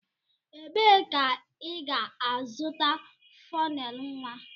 Ebee ka ị ga-azụta flannel nwa?